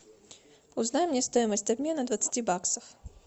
узнай мне стоимость обмена двадцати баксов